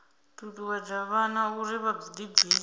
ṱuṱuwedza vhana uri vha ḓibvise